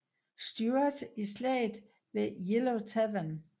Stuart i slaget ved Yellow Tavern